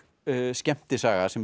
skemmtisaga sem